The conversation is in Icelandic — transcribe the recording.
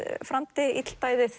framdi